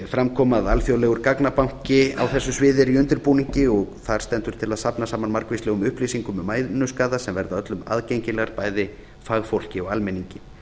fram kom að alþjóðlegur gagnabanki á þessu sviði er í undirbúningi og þar stendur til að safna saman margvíslegum upplýsingum um mænuskaða sem verða öllum aðgengileg bæði fagfólki og almenningi